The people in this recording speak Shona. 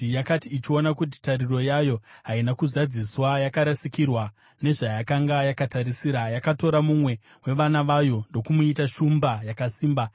“ ‘Yakati ichiona kuti tariro yayo haina kuzadziswa, yarasikirwa nezvayakanga yakatarisira, yakatora mumwe wevana vayo ndokumuita shumba yakasimba.